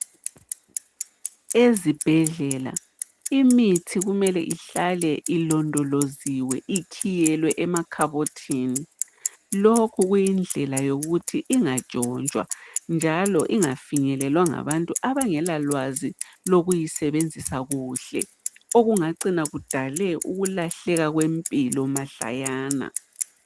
Ezibhedlela imithi kumele ihlale ilondoloziwe, ikhiyelwe emakhabothini. Lokhu kuyindlela yokuthi ingantshontshwa njalo ingafinyelelwa ngabantu abangelalwazi lokusebenzisa kuhle, okungacina kudale ukulahleka kwempilo mahlayana.